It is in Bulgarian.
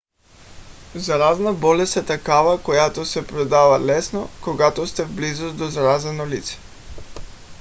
заразна болест е такава която се предава лесно когато сте в близост до заразено лице